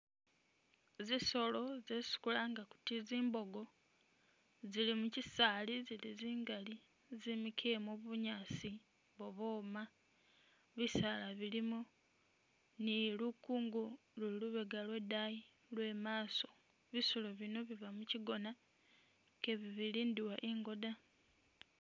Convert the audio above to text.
Zisolo zesi kulanga kuti zimbogo, zili mukyisaali zili zingali zimikile mubunyaasi bubwoma, bisaala bilimo, ni lukungu luli lubega lwedayi lwe maaso, bisolo bino biba mukyigona kebilindiwa ingo daa.